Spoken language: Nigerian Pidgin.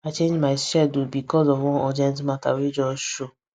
i change my schedule because of one urgent matter wey just show